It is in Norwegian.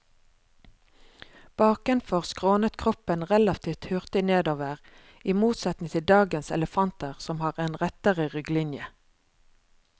Bakenfor skrånet kroppen relativt hurtig nedover, i motsetning til dagens elefanter som har en rettere rygglinje.